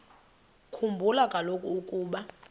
khumbula kaloku ukuba